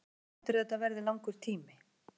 Hvað heldurðu að þetta verði langur tími?